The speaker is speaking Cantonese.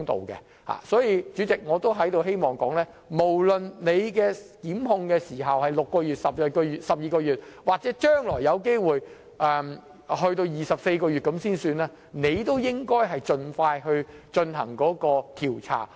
因此，主席，我希望說的是無論檢控時限是6個月、12個月或將來有機會延長至24個月，執法機關亦應盡快進行調查。